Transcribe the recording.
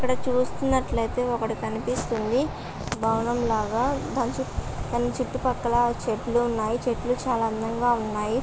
ఇక్కడ చూస్తున్నట్లయితే ఒకటి కనిపిస్తుంది బావనం లాగా దాని చుట్టు పాకాల చెట్లు ఉన్నాయి చెట్లు చాలా అందంగా ఉన్నాయి.